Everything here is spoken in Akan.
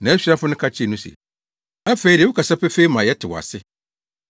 Nʼasuafo no ka kyerɛɛ no se, “Afei de, wokasa pefee ma yɛte wo ase.